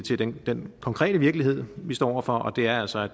til den den konkrete virkelighed vi står over for og det er altså